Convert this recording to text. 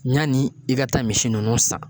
Ɲani i ka taa misi nunnu san.